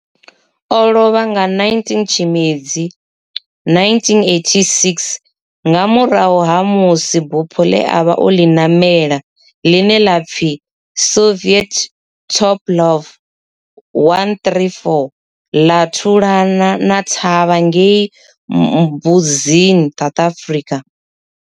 O lovha nga 19 Tshimedzi 1986 nga murahu ha musi bufho le a vha o li namela, line la pfi Soviet Tupolev 134 la thulana thavha ngei Mbuzini, South Africa.